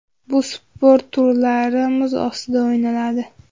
Bu sport turlari muz ustida o‘ynaladi.